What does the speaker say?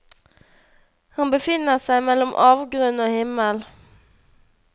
Han befinner seg mellom avgrunn og himmel.